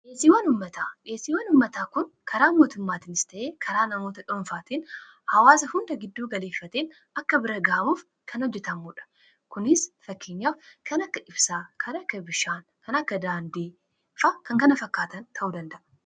dheesiiwwan ummataa kun karaa mootummaatiinis ta'ee karaa namoota dhoonfaatien hawaasa hunda gidduu galeeffateen akka bira gaamuuf kan hojjetammuudha kunis fakkinyaaf kana akka ibsaa, kan akka bishaan, kan akka daandii fi kan kana fakkaatan ta'u danda'a